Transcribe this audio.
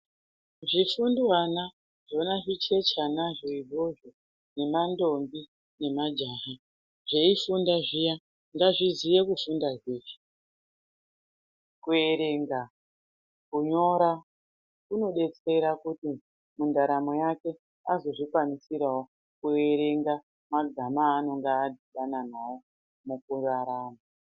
Zvifundwana zvona zvicheche anozvo izvozvo ne ma ndombi ne majaha zvei funda zviya ngazvi ziye kufunda zveshe kuerenga kunyora kuno detsera kuti mu ndaromo yake azo zvikwanisirawo ku erenga mazana anonga adhibana nawo muku rarama.